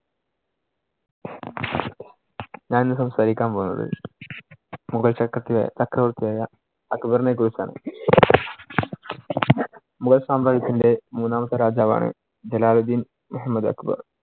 ഞാൻ ഇന്ന് സംസാരിക്കാൻ പോകുന്നത് മുഗൾ ചക്രര്‍~ ചക്രവർത്തി ആയ അക്ബറിനെ കുറിച്ചാണ്. മുഗൾ സാമ്രാജ്യത്തിന്‍റെ മൂന്നാമത്തെ രാജാവാണ് ജലാൽ ദിൻ മുഹമ്മദ് അക്ബർ.